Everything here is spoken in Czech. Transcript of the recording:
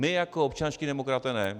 My jako občanští demokraté ne.